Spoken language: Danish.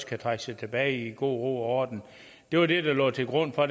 kan trække sig tilbage i god ro og orden det var det der lå til grund for